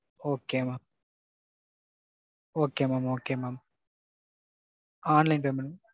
Okay mam. Okay mam. Okay mam. Online payment.